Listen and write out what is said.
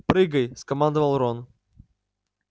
прыгай скомандовал рон